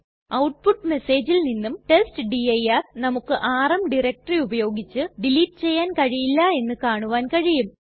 output മെസ്സേജിൽ നിന്നും testdir നമുക്ക് ആർഎം ഡയറക്ടറി ഉപയോഗിച്ച് ഡിലീറ്റ് ചെയ്യാൻ കഴിയില്ല എന്ന് കാണുവാൻ കഴിയും